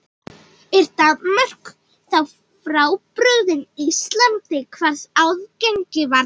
Er Danmörk þá frábrugðin Íslandi hvað aðgengi varðar?